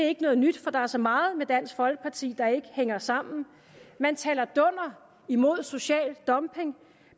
er noget nyt for der er så meget med dansk folkeparti der ikke hænger sammen man taler dunder imod social dumping